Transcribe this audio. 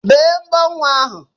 Bee mbọ nwa ahu!